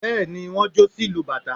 bẹ́ẹ̀ni wọ́n jó sí ìlú bátà